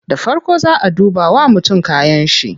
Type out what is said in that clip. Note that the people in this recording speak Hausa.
Da farko zaa a duba wa mutum kayanshi ne